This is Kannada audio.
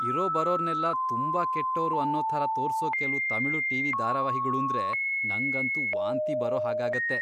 ಇರೋಬರೋರ್ನೆಲ್ಲ ತುಂಬಾ ಕೆಟ್ಟೋರು ಅನ್ನೋ ಥರ ತೋರ್ಸೋ ಕೆಲ್ವು ತಮಿಳು ಟಿ.ವಿ. ಧಾರಾವಾಹಿಗಳೂಂದ್ರೆ ನಂಗಂತೂ ವಾಂತಿ ಬರೋ ಹಾಗಾಗತ್ತೆ.